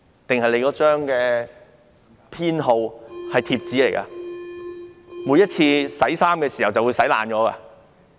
還是那張編號是貼紙呢？每次洗衣服的時候便會洗爛嗎？